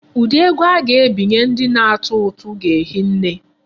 Ụdị ego a ga-ebinye ndị na-atụ ụtụ ga-ehi nne.